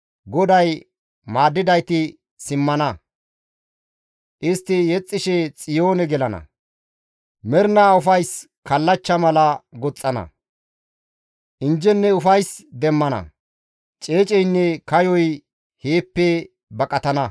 GODAY maaddidayti simmana; istti yexxishe Xiyoone gelana; mernaa ufayssa kallachcha mala goxxana; injjenne ufays demmana; ceeceynne kayoy heeppe baqatana.